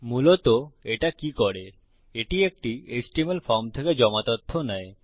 মূলত এটা কি করে এটি একটি এচটিএমএল ফর্ম থেকে জমা তথ্য নেয়